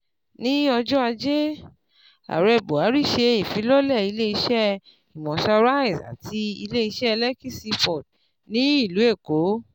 Ní ọjọ́ Ajé, Ààrẹ Buhari ṣe ìfilọ́lẹ̀ ilé iṣẹ́ Imota rice àti ilé iṣẹ́ Lekki Seaport ní ìlú Èkó